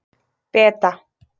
Beta